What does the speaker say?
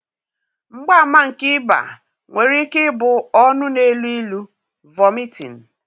mgbaàmà nke ịba nwere ike ịbụ ọnụ na-elu ilu, vomiting